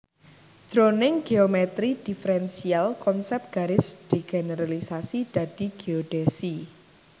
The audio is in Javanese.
Jroning géomètri diferensial konsèp garis digeneralisasi dadi géodhèsi